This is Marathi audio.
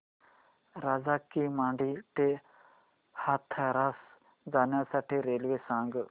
राजा की मंडी ते हाथरस जाण्यासाठी रेल्वे सांग